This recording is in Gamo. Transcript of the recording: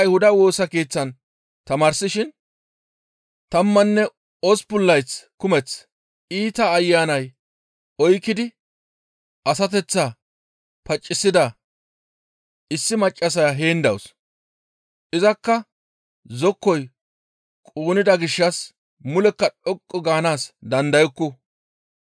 tammanne osppun layth kumeth iita ayanay oykkidi asateththaa pacisida issi maccassaya heen dawus; izakka zokkoy quunnida gishshas mulekka dhoqqu gaanaas dandayukku.